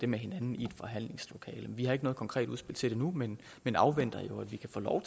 med hinanden i et forhandlingslokale vi har ikke noget konkret udspil til det nu men men afventer jo at vi kan få lov